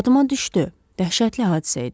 Yadıma düşdü, dəhşətli hadisə idi.